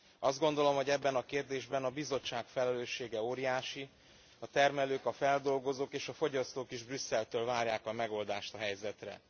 Azt gondolom, hogy ebben a kérdésben a Bizottság felelőssége óriási a termelők, a feldolgozók és a fogyasztók is Brüsszeltől várják a megoldást a helyzetre.